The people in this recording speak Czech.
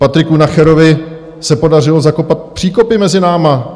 Patriku Nacherovi se podařilo zakopat příkopy mezi námi.